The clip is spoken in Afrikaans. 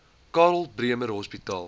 karl bremer hospitaal